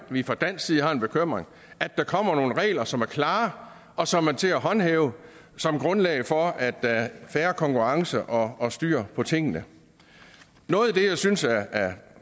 vi fra dansk side har en bekymring kommer nogle regler som er klare og som er til at håndhæve som grundlag for at der er fair konkurrence og og styr på tingene noget af det jeg synes er